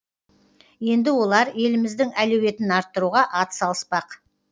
енді олар еліміздің әлеуетін арттыруға ат салыспақ